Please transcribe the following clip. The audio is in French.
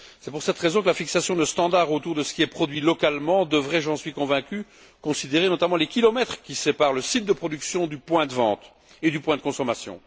C'est pour cette raison que la fixation de standards autour de ce qui est produit localement devrait, j'en suis convaincu, prendre en compte notamment les kilomètres qui séparent le site de production du point de vente et du point de consommation.